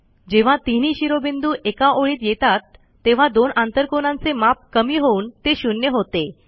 जेव्हा तिनही शिरोबिंदू एका ओळीत येतात तेव्हा दोन आंतरकोनांचे माप कमी होऊन ते शून्य होते